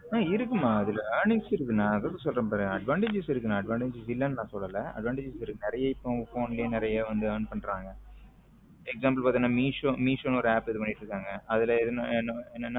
இருக்குமா அதுல earning நான் சொல்றேன் பாரு advantages இருக்கு நான adavantages இல்லைன்னு சொல்லல நிறைய உங்க phone ல வந்து நிறைய learn பண்றாங்க example பார்த்தீங்கன்னா மீசோ நு ஒரு app இது பண்ணிட்டு இருக்காங்க அதுல என்ன என்னன்னா